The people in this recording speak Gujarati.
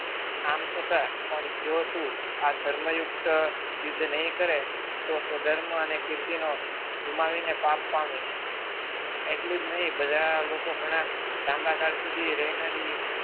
આમ છતાં પણ જો તું આ ધર્મયુક્ત યુદ્ધ નહીં કરે તો સ્વધર્મ અને કીર્તિનો ગુમાવીને પાપ પામીશ એટલી જ નહીં બધા લોકો ઘણા લાંબાગાળ સુધી રહેનારી